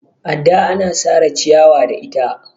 adda ana Sara ciyawa da ita